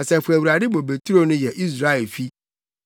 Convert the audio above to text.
Asafo Awurade bobeturo no yɛ Israelfi,